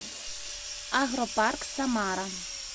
агропарк самара